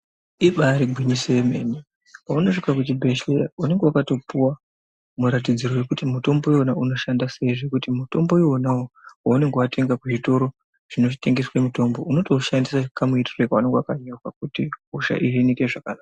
Ibaari gwinyiso rememene paunosvika muchibhehleya unenge wakatopuwa muratidziro wekuti mutombo uyona unoshanda sei zvekuti mutombo uwona wo waunonga watenga kuzvitoro zvinotengese mutombo unotoushanda kamuitiro kaunenge wakanyorwa kuti hosha iyi ihinike zvakanaka.